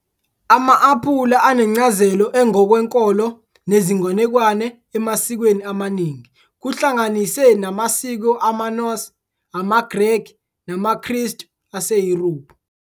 Ama-aphula anencazelo engokwenkolo nezinganekwane emasikweni amaningi, kuhlanganise namasiko amaNorse, amaGreki namaKristu aseYurophu.